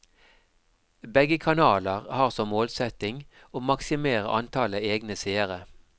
Begge kanaler har som målsetting å maksimere antallet egne seere.